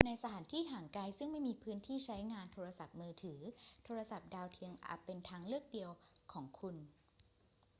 ในสถานที่ห่างไกลซึ่งไม่มีพื้นที่ใช้งานโทรศัพท์มือถือ โทรศัพท์ดาวเทียมอาจเป็นทางเลือกเดียวของคุณ